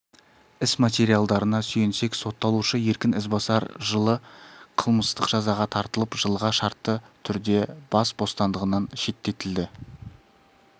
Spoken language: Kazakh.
іс материалдарына сүйенсек сотталушы еркін ізбасар жылы қылмыстық жазаға тартылып жылға шартты түрде бас бостандығынан шеттетілді